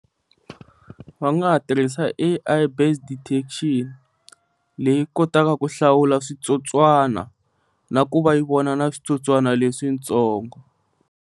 Va nga ha tirhisa A_I based detection, leyi kotaka ku hlawula switsotswana na ku va yi vona na switsotswana leswi ntsongo.